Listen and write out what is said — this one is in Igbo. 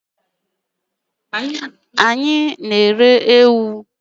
Anyị na-ere ewu.